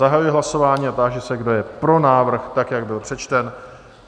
Zahajuji hlasování a táži se, kdo je pro návrh, tak jak byl přečten?